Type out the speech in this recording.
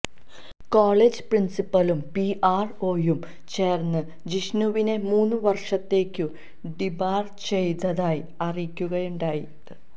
college പ്രിന്സിപ്പലും P R ഒയും ചേര്ന്ന് ജിഷ്ണുവിനെ മൂന്ന് വര്ഷത്തേക്കു ഡീബാര് ചെയ്തതായി അറിയിക്കുകയാണുണ്ടായത്